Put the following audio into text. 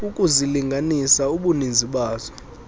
ukuzilinganisa ubuninzi bazo